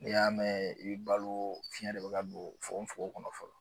N'i y'a mɛn i bɛ balo fiyɛn de bɛ ka don fogon fogon kɔnɔ fɔlɔ.